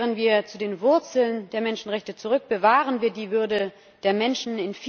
Kehren wir zu den Wurzeln der Menschenrechte zurück, bewahren wir die Würde der Menschen!